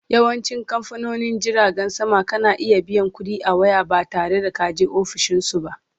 Yawancin kamfanonin jiragen sama kana iya biyan ƙuɗi a waya ba tare da kaje ofishinsu ba